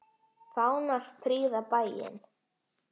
Fánar prýða bæinn.